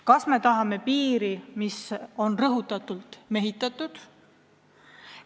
Kas me tahame piiri, mis on rõhutatult mehitatud?